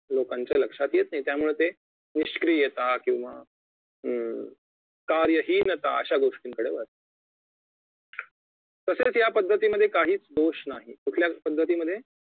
लोकांच्या लक्षात येते त्यामुळे ते निष्क्रियता किंवा अं कार्यहीनता अशा गोष्टीकडे वळतात तसेच या पद्धतीमधे काहीच दोष नाही कुठल्या पद्धतीमधे